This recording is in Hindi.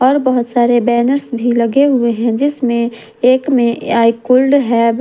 और बहोत सारे बैनर्स भी लगे हुए हैं जिसमें एक में आई कोल्ड हैव --